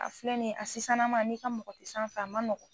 A filɛ nin ye a sisannama n'i ka mɔgɔ tɛ sanfɛ a ma nɔgɔ.